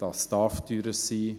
Das darf teurer sein.